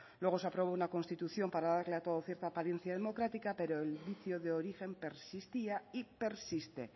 luego se aprobó una constitución para darle a todo cierta apariencia democrática pero el vicio de origen persistía y persiste